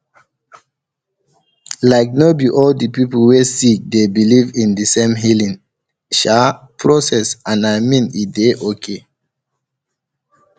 like no be all the people wey sick dey believe in de same healing um process and i mean e dey okay